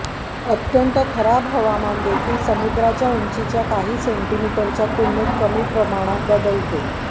अत्यंत खराब हवामान देखील समुद्राच्या उंचीच्या काही सेंटीमीटरच्या तुलनेत कमी प्रमाणात बदलतो